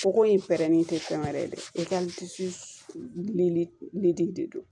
Fuko in pɛrɛnnen tɛ fɛn wɛrɛ ye dɛ i ka disi lili de do